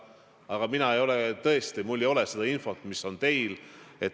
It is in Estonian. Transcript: Aga minul tõesti ei ole seda infot, mis on teil.